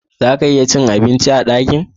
Zaka iya cin abinci a dakin